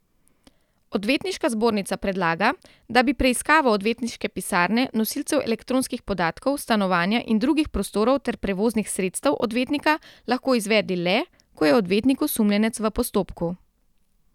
Odvetniška zbornica predlaga, da bi preiskavo odvetniške pisarne, nosilcev elektronskih podatkov, stanovanja in drugih prostorov ter prevoznih sredstev odvetnika lahko izvedli le, ko je odvetnik osumljenec v postopku.